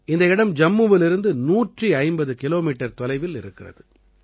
இந்த இடம் ஜம்முவிலிருந்து 150 கிலோமீட்டர் தொலைவில் இருக்கிறது